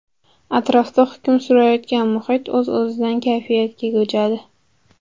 Atrofda hukm surayotgan muhit o‘z-o‘zidan kayfiyatga ko‘chadi.